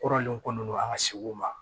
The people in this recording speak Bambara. Kɔrɔlen kɔni an ka segu ma